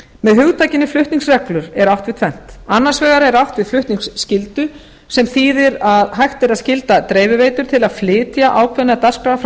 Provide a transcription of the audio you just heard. með hugtakinu flutningsreglur er átt við tvennt annars vegar er átt við flutningsskyldu sem þýðir að hægt er að skylda dreifiveitur til að flytja ákveðna dagskrá frá